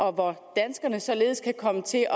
og hvor danskerne således kan komme til at